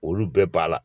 Olu bɛɛ b'a la